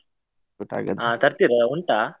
ತರ್ತೀರಾ ಉಂಟಾ?